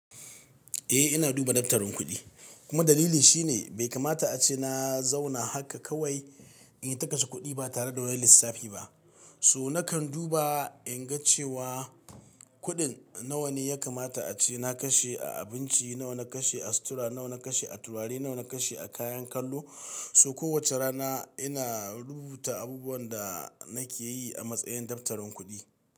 E ina duba daftarin kuɗi kuma dalili shine bai kamata ace na zauna haka kawai in yi ta kashe kuɗi ba tare da wani lissafi ba. So nakan duba in ga cewa kuɗin nawa ne ya kamata ace na kashe a abinci, nawa na kashe a sutura, nawa na kashe a turare, nawa na kashe a kayan kallo. So kowace rana ina rubuta abubuwan da nake yi a matsayin daftarin kuɗi.